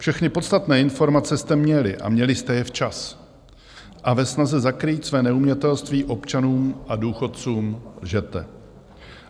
Všechny podstatné informace jste měli, a měli jste je včas, a ve snaze zakrýt své neumětelství občanům a důchodcům lžete.